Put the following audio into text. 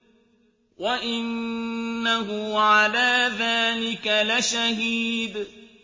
وَإِنَّهُ عَلَىٰ ذَٰلِكَ لَشَهِيدٌ